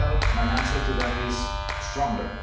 My answer to that is stronger.